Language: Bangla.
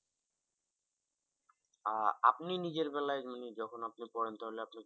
আহ আপনি নিজের বেলা মানে যখন আপনি পড়েন তাহলে আপনি কি